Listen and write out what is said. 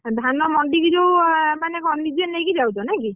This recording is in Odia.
ଆଉ ଧାନ ମଣ୍ଡିକି ଯୋଉ ମାନେ କ’ଣ ନିଜେ ନେଇକି ଯାଉଛ ନାଇ କି?